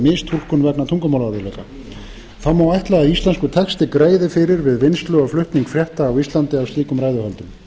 mistúlkun vegna tungumálaörðugleika þá má ætla að íslenskur texti greiði fyrir við vinnslu og flutning frétta á íslandi af slíkum ræðuhöldum